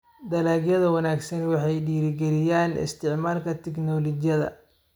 Dalagyada wanaagsan waxay dhiirigeliyaan isticmaalka tignoolajiyada.